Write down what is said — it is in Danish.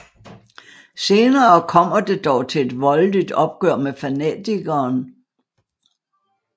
Senere kommer det dog til et voldeligt opgør med fanatikeren